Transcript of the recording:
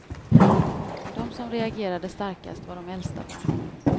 De som reagerade starkast var de äldsta barnen.